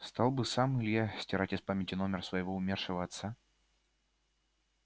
стал бы сам илья из памяти стирать номер своего умершего отца